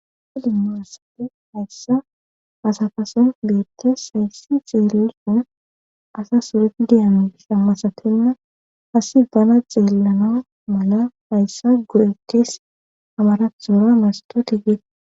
felimmaasate hayssa asafason beettes hayssi xeellison asa sureti diyami sammasatenna hasi dana xeellana mala hayssa guretees hamaraxoora masto tigeete